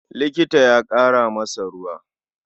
Likita ya ƙara masa ruwa.